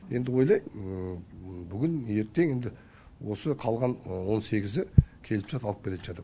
енді ойлаймын бүгін ертең енді осы қалған он сегізі келісімшарт алып келетін шығар деп